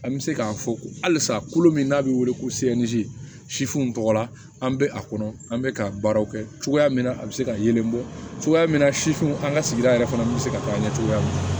An bɛ se k'a fɔ halisa kolo min n'a bɛ wele ko sifinw tɔgɔ la an bɛ a kɔnɔ an bɛ ka baaraw kɛ cogoya min na a bɛ se ka yelen bɔ cogoya min na sifinw an ka sigida yɛrɛ fana bɛ se ka taa ɲɛ cogoya min na